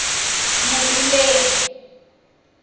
moruleng